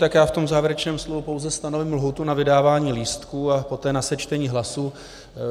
Tak já v tom závěrečném slově pouze stanovím lhůtu na vydávání lístků a poté na sečtení hlasů.